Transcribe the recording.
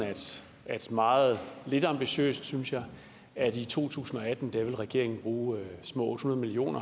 meget lidt ambitiøst synes jeg at i to tusind og atten vil regeringen bruge små otte hundrede million